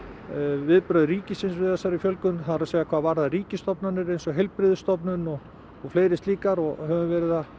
viðbrögð ríkisins við þessari fjölgun það er hvað varðar ríkisstofnanir eins og heilbrigðisstofnun og og fleiri slíkar og höfum verið að